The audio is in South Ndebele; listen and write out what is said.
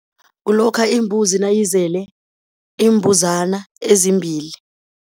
Kulokha imbuzi nayizele iimbuzana ezimbili.